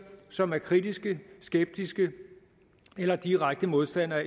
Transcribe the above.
som er kritiske skeptiske eller direkte modstandere